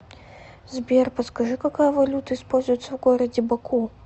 сбер подскажи какая валюта используется в городе баку